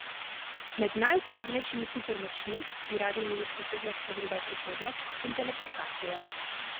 Med najuporabnejšimi supermočmi bi radi imeli sposobnost pogleda v prihodnost in teleportacije.